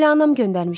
Elə anam göndərmişdi.